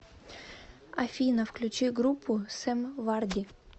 афина включи группу сэм варди